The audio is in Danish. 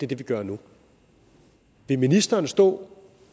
det vi gør nu vil ministeren stå